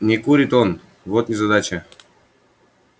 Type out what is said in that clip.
не курит он вот незадача